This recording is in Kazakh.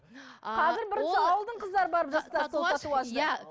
бірінші ауылдың қыздары барып жасатады